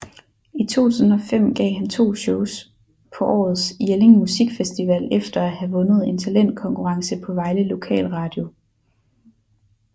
I 2005 gav han to shows på årets Jelling Musikfestival efter at have vundet en talentkonkurrence på Vejle Lokal Radio